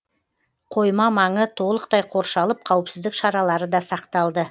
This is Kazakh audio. қойма маңы толықтай қоршалып қауіпсіздік шаралары да сақталды